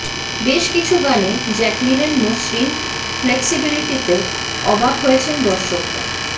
বেশ কিছু গানে জ্যাকলিনের মসৃণ ফ্লেক্সিবিলিটিতে অবাক হয়েছেন দর্শকরা